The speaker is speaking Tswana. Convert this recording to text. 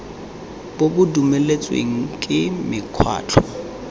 bo bo dumeletsweng ke mekgatlho